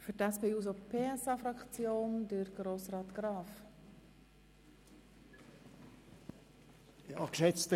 Für die SP-JUSO-PSA-Fraktion hat Grossrat Graf das Wort.